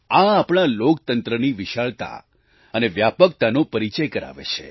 આ આપણા લોકતંત્રની વિશાળતા અને વ્યાપકતાનો પરિચય કરાવે છે